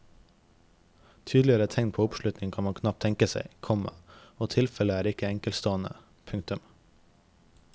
Tydeligere tegn på oppslutning kan man knapt tenke seg, komma og tilfellet er ikke enkeltstående. punktum